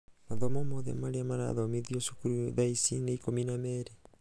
mathomo mothe maria marathomithio cukuru tha ici nĩ ikũmi na merĩ.